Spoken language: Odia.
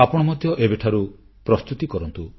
ଆପଣ ମଧ୍ୟ ଏବେଠାରୁ ପ୍ରସ୍ତୁତି କରନ୍ତୁ